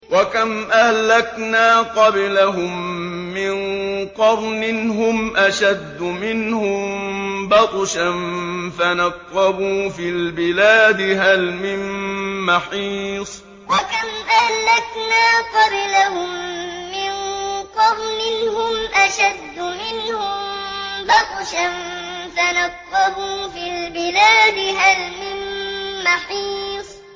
وَكَمْ أَهْلَكْنَا قَبْلَهُم مِّن قَرْنٍ هُمْ أَشَدُّ مِنْهُم بَطْشًا فَنَقَّبُوا فِي الْبِلَادِ هَلْ مِن مَّحِيصٍ وَكَمْ أَهْلَكْنَا قَبْلَهُم مِّن قَرْنٍ هُمْ أَشَدُّ مِنْهُم بَطْشًا فَنَقَّبُوا فِي الْبِلَادِ هَلْ مِن مَّحِيصٍ